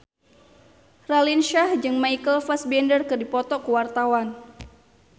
Raline Shah jeung Michael Fassbender keur dipoto ku wartawan